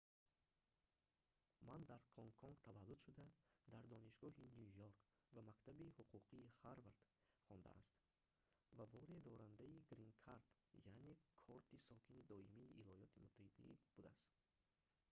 ма дар гонконг таваллуд шуда дар донишгоҳи ню йорк ва мактаби ҳуқуқии ҳарвард хондааст ва боре дорандаи грин кард яъне корти сокини доимии йёлоти муттаҳида будааст